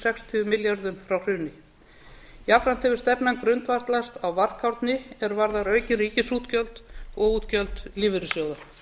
sextíu milljörðum frá hruni jafnframt hefur stefnan grundvallast á varkárni að því er varðar aukin ríkisútgjöld og útgjöld lífeyrissjóða